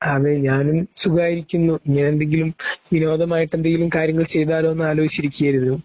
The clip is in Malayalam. അതേ ഞാനും സുഖായിരിക്കുന്നു. ഞാനെന്തെങ്കിലും വിനോദമായിട്ടെന്തെങ്കിലും കാര്യങ്ങൾ ചെയ്താലോ എന്നാലോചിച്ചു ഇരിക്കുകയായിരുന്നു.